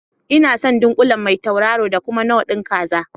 Inason ɗunkule Mai tauraro da kuma knor ɗin kaza